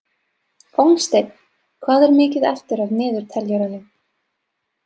Hólmsteinn, hvað er mikið eftir af niðurteljaranum?